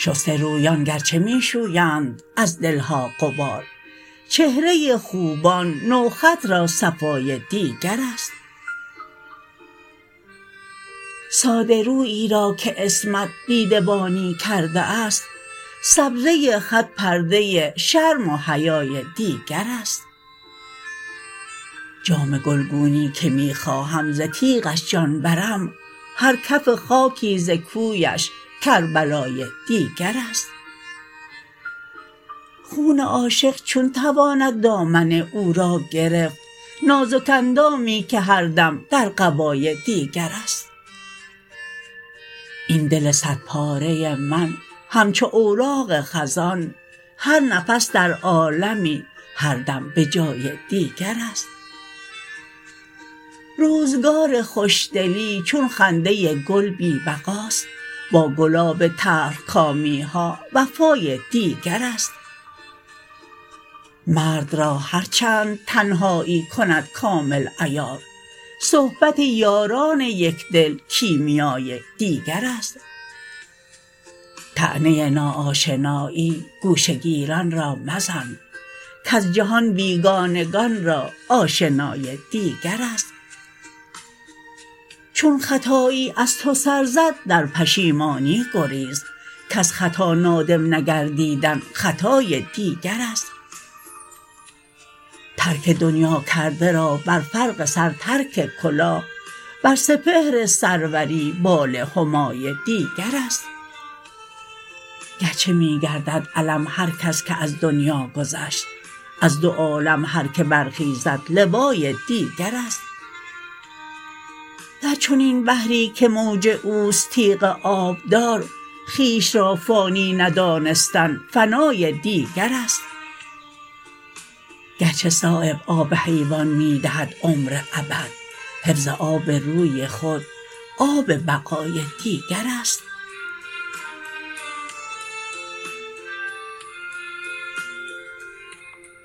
شسته رویان گرچه می شویند از دلها غبار چهره خوبان نوخط را صفای دیگرست ساده رویی را که عصمت دیده بانی کرده است سبزه خط پرده شرم و حیای دیگرست جامه گلگونی که می خواهم ز تیغش جان برم هر کف خاکی ز کویش کربلای دیگرست خون عاشق چون تواند دامن او را گرفت نازک اندامی که هر دم در قبای دیگرست این دل صد پاره من همچو اوراق خزان هر نفس در عالمی هر دم به جای دیگرست روزگار خوشدلی چون خنده گل بی بقاست با گلاب تلخکامی ها وفای دیگرست مرد را هر چند تنهایی کند کامل عیار صحبت یاران یکدل کیمیای دیگرست طعنه نا آشنایی گوشه گیران را مزن کز جهان بیگانگان را آشنای دیگرست چون خطایی از تو سر زد در پشیمانی گریز کز خطا نادم نگردیدن خطای دیگرست ترک دنیا کرده را بر فرق سر ترک کلاه بر سپهر سروری بال همای دیگرست گرچه می گردد علم هر کس که از دنیا گذشت از دو عالم هر که برخیزد لوای دیگرست در چنین بحری که موج اوست تیغ آبدار خویش را فانی ندانستن فنای دیگرست گرچه صایب آب حیوان می دهد عمر ابد حفظ آب روی خود آب بقای دیگرست